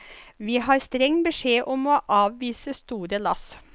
Vi har streng beskjed om å avvise store lass.